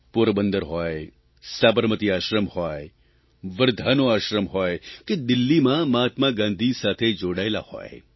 પોરબંદર હોય સાબરમતી આશ્રમ હોય વર્ધાનો આશ્રમ હોય કે દિલ્હીમાં મહાત્મા ગાંધી સાથે જોડાયેલાં હોય